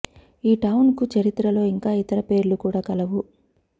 ఈ టవున్ కు చరిత్రలో ఇంకా ఇతర పేర్లు కూడా కలవు